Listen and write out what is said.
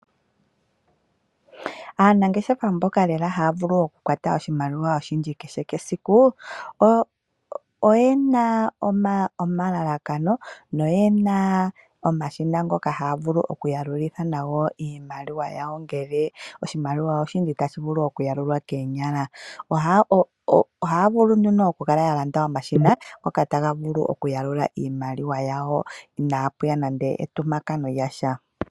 Aanangeshefa mboka lela haya vulu okukwata oshimaliwa oshindji kehe esiku oyena omalalakano noyena omashina ngoka haya longitha okuyalula iimaliwa ngele itayi vulu okuyalulwa koonyala. Ogaya longitha omashina ngoka okuyalula iimaliwa inapuya nande entumpakano lyasha.